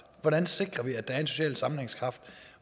hvordan sikrer vi at der er en social sammenhængskraft